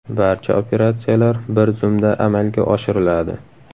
Barcha operatsiyalar bir zumda amalga oshiriladi.